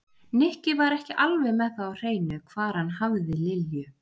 Nikki var ekki alveg með það á hreinu hvar hann hafði Lilju.